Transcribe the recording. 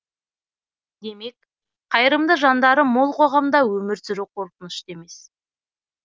демек қайырымды жандары мол қоғамда өмір сүру қорқынышты емес